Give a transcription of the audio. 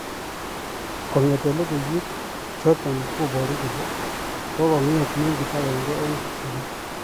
Kongete logoiywek chotok koboru kole kokonget mengit agenge eng kipsamoo.